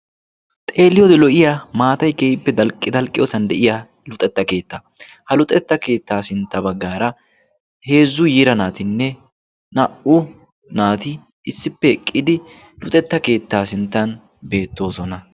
xeeliyoodi lo'iya maatai ke'ippe dalqqiyoosan de'iya luxetta keetta ha luxetta keettaa sintta baggaara heezzu yira naatinne naa''u naati issippe eqqidi luxetta keettaa sinttan beettoosona